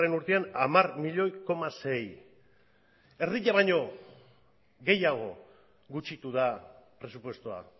urtean hamar koma sei milioi erdia baino gehiago gutxitu da presupuestoa